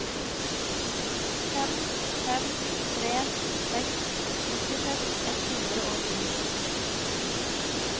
fem fem tre seks nittiseks ett hundre og ni